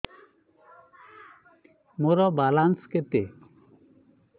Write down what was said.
ମୋର ବାଲାନ୍ସ କେତେ